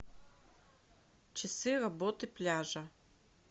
часы работы пляжа